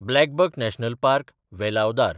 BlackBuck national park, Velavadar